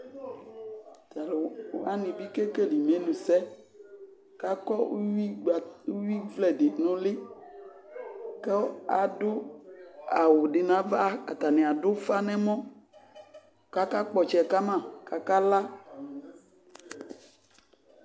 Ta lu wane be kekele emenusɛ kakɔ uwi gba, ueɛwivlɛ de no uli ko ado awu de navaAtane ado ufa nɛmɔ kaka kpɔ ɔtsɛ kama kaka la